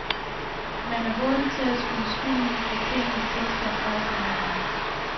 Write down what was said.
Man er hurtig til at skyde skylden for tingenes tilstand over på hinanden.